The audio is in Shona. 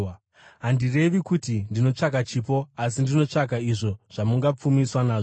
Handirevi kuti ndinotsvaka chipo, asi ndinotsvaka izvo zvamungazopfumiswa nazvo.